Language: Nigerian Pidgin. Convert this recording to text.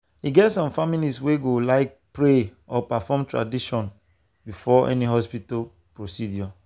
e get some families wey go like pray or perform tradition before any hospital procedure.